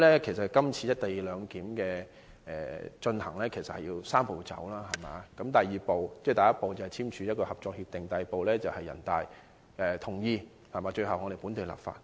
今次落實"一地兩檢"採取"三步走"的安排，第一步是簽署《合作安排》，第二步是人大同意，最後一步是本地立法。